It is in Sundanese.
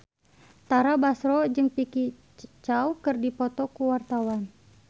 Tara Basro jeung Vicki Zao keur dipoto ku wartawan